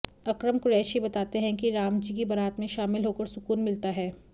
अकरम कुरैशी बताते हैं कि राम जी की बारात में शामिल होकर सुकून मिलता है